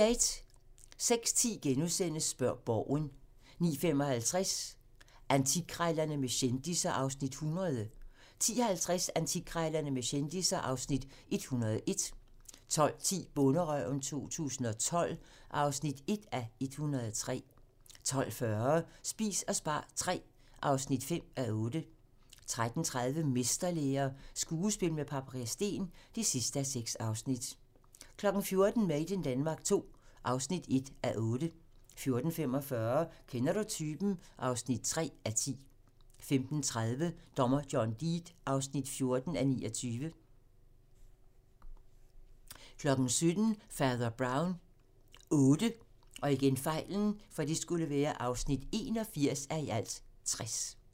06:10: Spørg Borgen * 09:55: Antikkrejlerne med kendisser (Afs. 100) 10:50: Antikkrejlerne med kendisser (Afs. 101) 12:10: Bonderøven 2012 (1:103) 12:40: Spis og spar III (5:8) 13:30: Mesterlære - skuespil med Paprika Steen (6:6) 14:00: Made in Denmark II (1:8) 14:45: Kender du typen? (3:10) 15:30: Dommer John Deed (14:29) 17:00: Fader Brown VIII (81:60)